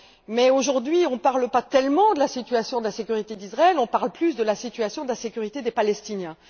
Mais, aujourd'hui, on ne parle pas tellement de la situation de la sécurité d'Israël, on parle plus de la situation de la sécurité des Palestiniens.